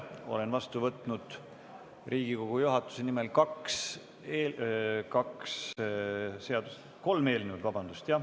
Olen vastu võtnud Riigikogu juhatuse nimel kaks, vabandust, kolm eelnõu.